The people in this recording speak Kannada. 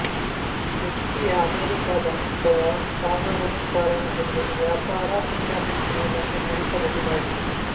ವ್ಯಕ್ತಿಯ ಅಮೇರಿಕಾದ ಅಥವಾ ಸಾಗರೋತ್ತರ ಎಂಬುದು ವ್ಯಾಪಾರ ಇಂಟರ್ನೆಟ್ ಮೂಲಕ ನಡೆಸಬಹುದಾಗಿದೆ